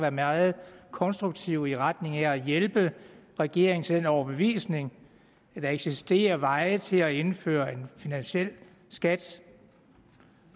være meget konstruktive i retning af at hjælpe regeringen til den overbevisning at der eksisterer veje til at indføre en finansiel skat